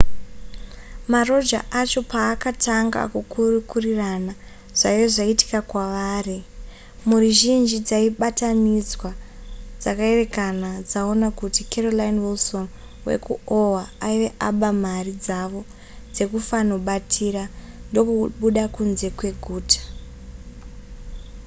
maroja acho paakatanga kukurukurirana zvaive zvaitika kwavari mhuri zhinji dzaibatanidzwa dzakaerekana dzaona kuti carolyn wilson wekuoha aive aba mari dzavo dzekufanobatira ndokubuda kunze kweguta